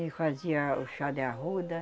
E fazia o chá de arruda.